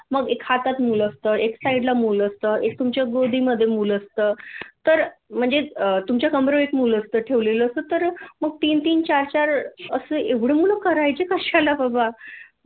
मग एक हातात मुल असतं एक साईड ला मुल असतं एक तुमच्या गोदीमधे मुल असतं तर म्हणजे तुमच्या कमरेवर एक मुल असतं ठेवलेल असं तर मग तीन तीन चार चार असे एवढे मुल करायचे कशाला बाबा